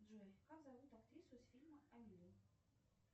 джой как зовут актрису из фильма амели